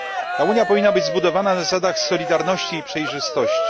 Ta Unia powinna być zbudowana na zasadach solidarności i przejrzystości.